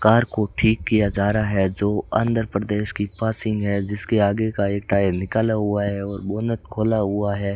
Car को ठीक किया जा रहा है जो आंध्रप्रदेश की पासिंग है जिसके आगे का एक टायर निकाला हुआ है और बोनेट खोला हुआ है।